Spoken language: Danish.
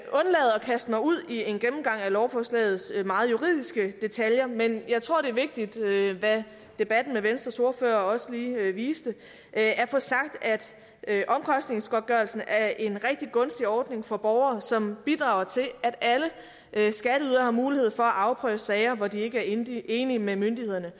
kaste mig ud i en gennemgang af lovforslagets meget juridiske detaljer men jeg tror det er vigtigt hvad debatten med venstres ordfører også lige viste at få sagt at omkostningsgodtgørelsen er en rigtig gunstig ordning for borgere som bidrager til at alle skatteydere har mulighed for at afprøve sager hvor de ikke er enige enige med myndighederne